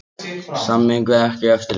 Samningunum ekki rift einhliða